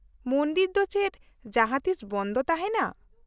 -ᱢᱚᱱᱫᱤᱨ ᱫᱚ ᱪᱮᱫ ᱡᱟᱦᱟᱸ ᱛᱤᱥ ᱵᱚᱱᱫᱷ ᱛᱟᱦᱮᱸᱱᱟ ?